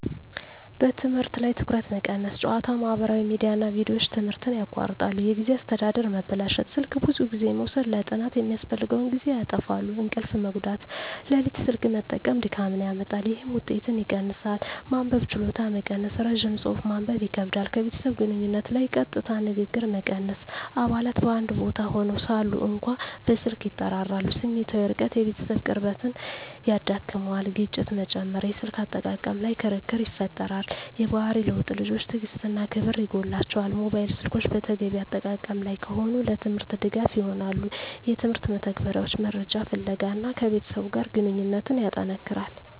በትምህርት ላይ ትኩረት መቀነስ ጨዋታ፣ ማህበራዊ ሚዲያ እና ቪዲዮዎች ትምህርትን ያቋርጣሉ። የጊዜ አስተዳደር መበላሸት ስልክ ብዙ ጊዜ መውሰድ ለጥናት የሚያስፈልገውን ጊዜ ያጣፋፋል። እንቅልፍ መጎዳት ሌሊት ስልክ መጠቀም ድካምን ያመጣል፣ ይህም ውጤትን ይቀንሳል። መንበብ ችሎታ መቀነስ ረጅም ጽሑፍ ማንበብ ይከብዳል። ከቤተሰብ ግንኙነት ላይ ቀጥታ ንግግር መቀነስ አባላት በአንድ ቦታ ሆነው ሳሉ እንኳ በስልክ ይጠራራሉ። ስሜታዊ ርቀት የቤተሰብ ቅርብነት ይዳክመዋል። ግጭት መጨመር የስልክ አጠቃቀም ላይ ክርክር ይፈጠራል። የባህሪ ለውጥ ልጆች ትዕግሥት እና ክብር ይጎላቸዋል። ሞባይል ስልኮች በተገቢ አጠቃቀም ላይ ከሆኑ፣ ለትምህርት ድጋፍ ይሆናሉ (የትምህርት መተግበሪያዎች፣ መረጃ ፍለጋ) እና ከቤተሰብ ጋር ግንኙነትን ያጠነክራል።